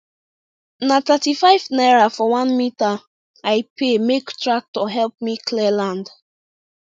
na thirtyfive naira for one metre i pay make tractor help me clear land